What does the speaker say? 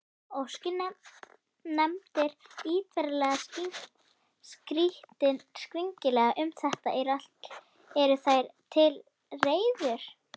Óski nefndin ýtarlegri skýringa um þetta, eru þær til reiðu.